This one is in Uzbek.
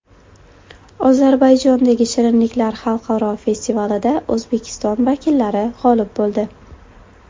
Ozarbayjondagi shirinliklar xalqaro festivalida O‘zbekiston vakillari g‘olib bo‘ldi.